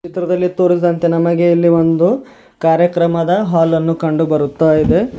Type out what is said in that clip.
ಚಿತ್ರದಲ್ಲಿ ತೋರಿಸಿದಂತೆ ನಮಗೆ ಇಲ್ಲಿ ಒಂದು ಕಾರ್ಯಕ್ರಮದ ಹಾಲ್ ಅನ್ನು ಕಂಡು ಬರುತ್ತಾ ಇದೆ.